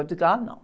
Eu digo, ah, não.